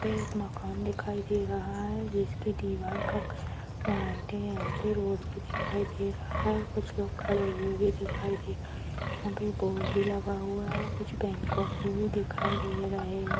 यहा पे एक मकान दिखाई दे रहा है जिसके दीवार का कलर वाइट है यहा पे रोड भी दिखाई दे रहा है कुछ लोग खड़े हुए भी दिखाई दे रहे है यहा पे बोर्ड भी लगा हुआ है और कुछ भी दिखे दे रहे है।